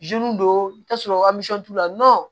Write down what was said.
don i t'a sɔrɔ t'u la